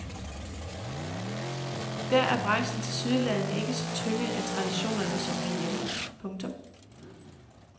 Der er branchen tilsyneladende ikke så tynget af traditionerne som herhjemme. punktum